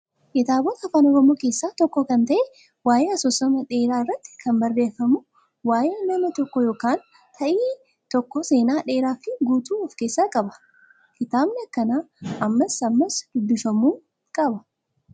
Kitaabota afaan oromoo keessaa tokko kan ta'e waayee asoosama dheeraa irratti kan barreeffamu waayee nama tokkoo yookaan ta'ii tokkoo seenaa dheeraa fi guutuu of keessaa qaba. Kitaabni akkanaa ammas ammas dubbifamuu qaba.